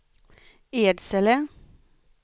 Edsele